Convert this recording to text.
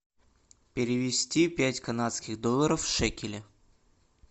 перевести пять канадских долларов в шекели